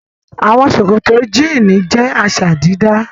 Àwọn ṣòkòtò jíínì jẹ́ àṣà-dídá.